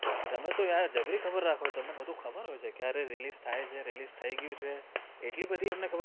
તમે તો યાર જબરી ખબર રાખો છો તમે બધું ખબર હોય છે ક્યારે release થાય છે release થઈ ગયું છે આટલી બધી અમને